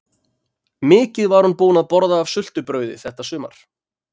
Mikið var hún búin að borða af sultu- brauði þetta sumar!